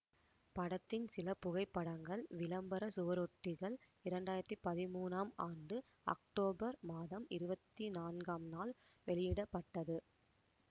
படத்தின் சில புகைப்படங்கள் விளம்பர சுவரொட்டிகள் இரண்டாயிரத்தி பதிமூனாம் ஆண்டு அக்டோபர் மாதம் இருவத்தி நான்காம் நாள் வெளியிட பட்டது